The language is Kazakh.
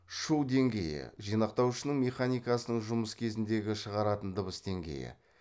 шу деңгейі жинақтауышының механикасының жұмыс кезіндегі шығаратын дыбыс деңгейі